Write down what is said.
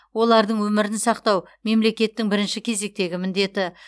олардың өмірін сақтау мемлекеттің бірінші кезектегі міндеті